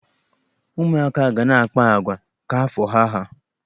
Ụmụaka ga na-akpa agwa ka afọ ha há.